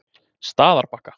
Staðarbakka